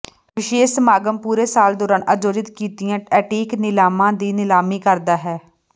ਵਿਸ਼ੇਸ਼ ਸਮਾਗਮ ਪੂਰੇ ਸਾਲ ਦੌਰਾਨ ਆਯੋਜਿਤ ਕੀਤੀਆਂ ਐਂਟੀਕ ਨੀਲਾਮਾਂ ਦੀ ਨਿਲਾਮੀ ਕਰਦਾ ਹੈ